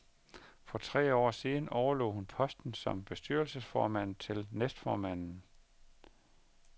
For tre år siden overlod hun posten som bestyrelsesformand til næstformanden.